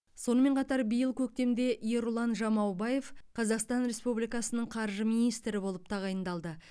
сонымен қатар биыл көктемде ерұлан жамаубаев қазақстан республикасының қаржы министрі болып тағайындалды